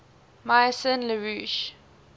maison la roche